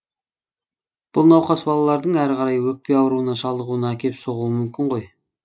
бұл науқас балалардың әрі қарай өкпе ауруына шалдығуына әкеп соғуы мүмкін ғой